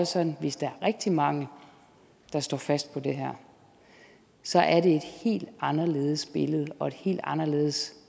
sådan at hvis der er rigtig mange der står fast på det her så er det et helt anderledes billede og et helt anderledes